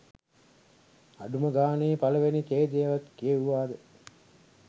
අඩුම ගානේ පලවෙනි ඡේදෙවත් කියෙවුවාද